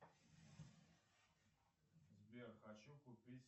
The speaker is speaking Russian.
сбер хочу купить